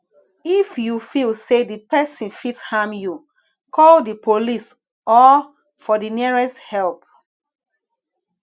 if you feel say di perosn fit harm you call di police or for the nearest help